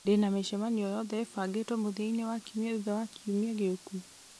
ndĩna mĩcemanio o yothe ĩbangĩtwo mũthia-inĩ wa kiumia thutha wa kiumia gĩũku